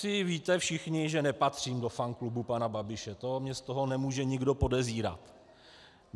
Asi víte všichni, že nepatřím do fanklubu pana Babiše, to mě z toho nemůže nikdo podezírat.